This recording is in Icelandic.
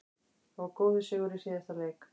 Það var góður sigur í síðasta leik.